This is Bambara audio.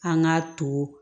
An k'a to